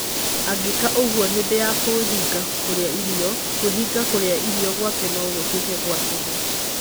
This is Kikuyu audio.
Angĩka ũguo hĩndĩ ya kwĩhinga kũrĩa irio, kwĩhinga kũrĩa irio gwake no gũtuĩke gwa tũhũ.